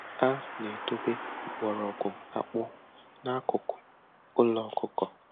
A na-edobe mgbọrọgwụ akpụ n'akụkụ ụlọ ọkụkọ.